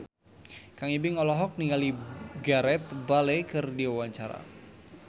Kang Ibing olohok ningali Gareth Bale keur diwawancara